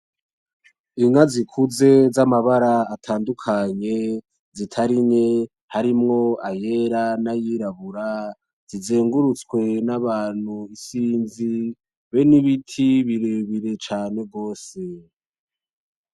Inka zikuze za mabara atandukanye zitari nke harimwo ayera na yirabura zizengurutswe n'abantu isinzi be n'ibiti birebire cane gose.